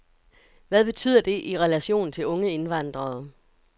Hvad betyder det i relation til unge indvandrere.